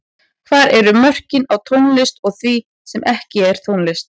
Hvar eru mörkin á tónlist og því sem er ekki tónlist?